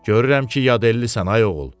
Görürəm ki, yadelllisən, ay oğul.